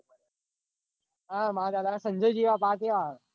ભર્યા હા મંદ આ સંજય જેવા